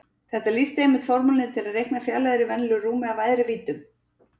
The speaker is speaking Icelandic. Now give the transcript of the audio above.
Þetta lýsir einmitt formúlunni til að reikna fjarlægðir í venjulegu rúmi af æðri víddum.